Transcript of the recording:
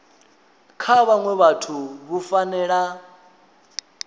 kha vhaṅwe vhathu vhu fanela